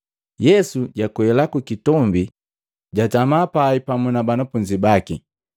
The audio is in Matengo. Yesu jakwela kukitombi jatama pai pamu na banafunzi baki.